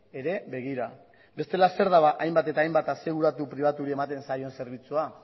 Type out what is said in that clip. ere begira bestela zer da ba hainbat eta hainbat aseguratu pribatuei ematen zaion zerbitzua